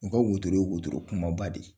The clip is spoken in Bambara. U ka wotoro ye wotoro kumaba de